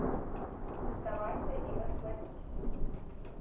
сдавайся и расплатись